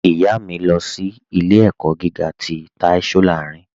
Ìyá mi, lọ sí ilẹ̀-ẹ̀kọ́ gígà tì Táí Sòláìrìn.